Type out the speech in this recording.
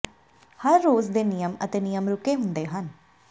ਹਰ ਰੋਜ਼ ਦੇ ਨਿਯਮ ਅਤੇ ਨਿਯਮ ਰੁਕੇ ਹੁੰਦੇ ਹਨ